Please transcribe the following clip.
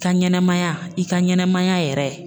Ka ɲanamaya i ka ɲanamaya yɛrɛ